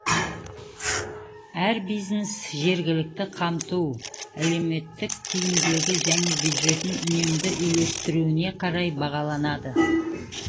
әр бизнес жергілікті қамту әлеуметтік тиімділігі және бюджетін үнемді үйлестіруіне қарай бағаланады